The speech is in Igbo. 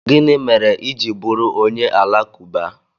Gịnị mere i ji bụrụ onye Alakụba?